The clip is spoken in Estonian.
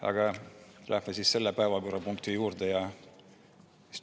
Aga läheme selle päevakorrapunkti juurde.